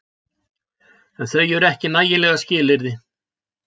En þau eru ekki nægjanleg skilyrði.